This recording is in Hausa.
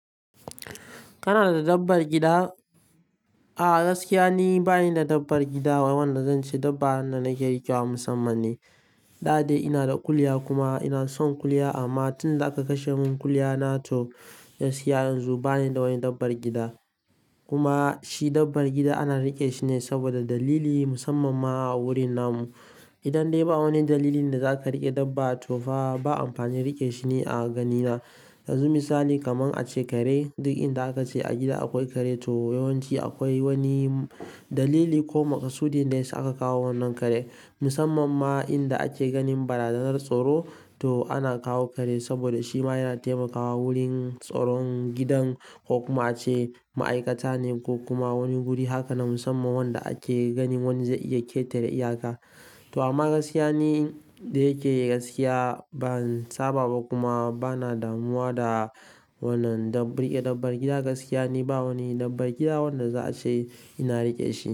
Kana da dabbar gida? A'a, gaskiya ni bani da dabbar gida wanda zan ce dabba wanda nake riƙewa musamman ne. Da dai ina da kuliya kuma ina son ƙuliya amma tun da aka kashe mun ƙuliya na to gaskiya yanzu bani da wani dabbar gida. Kuma shi dabbar gida ana riƙe shine saboda dalili musamman ma a wurin namu. Idan dai ba wani dalili da zaka riƙe dabba to fa ba amfanin riƙe shi ni a gani na. Yanzu misali kaman ace kare duk inda aka ce a gida akwai kare to yawanci akwai wani dalili ko makasudi da ya sa aka kawo wannan kare. Musamman ma inda ake ganin barazanar tsoro to ana kawo kare saboda shima yana taimakawa wurin tsoron gidan ko kuma ace ma'aikata ne ko kuma wani guri haka na musamman wanda ake ganin wani zai iya ƙetare iyaka. To amma gaskiya ni da yake gaskiya ban saba ba kuma bana damuwa da wannan dab-riƙe dabbar gida. Gaskiya ni ba wani dabbar gida wanda za a ce ina riƙe shi.